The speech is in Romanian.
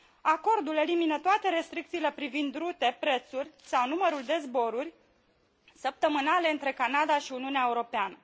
Acordul elimină toate restricțiile privind rutele, prețurile sau numărul de zboruri săptămânale între Canada și Uniunea Europeană.